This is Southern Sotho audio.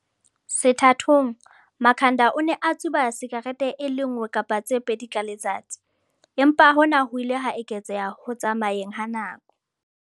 Sethathong, Makhanda o ne a tsuba sikarete e le nngwe kapa tse pedi ka letsatsi, empa hona ho ile ha eketseha ho tsamayeng ha nako.